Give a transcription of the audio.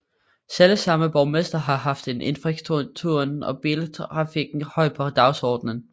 Selvsamme borgmester har haft infrastrukturen og biltrafikken højt på dagsordenen